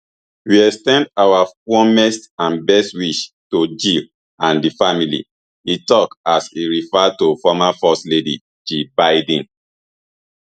we ex ten d our warmest and best wish to jill and di family e tok as e refer to former first lady jill biden